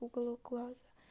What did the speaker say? уголок глаза